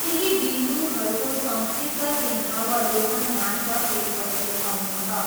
केही बिन्दुहरूको सङ्क्षिप्त सिंहावलोकन मात्र त्यसपछि आउनेछ।